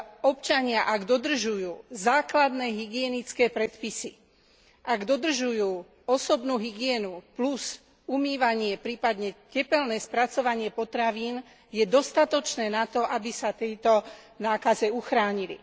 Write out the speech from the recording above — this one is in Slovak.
Občania ak dodržujú základné hygienické predpisy, ak dodržujú osobnú hygienu plus umývanie prípadne tepelné spracovanie potravín, je dostatočné na to, aby sa pred touto nákazou uchránili.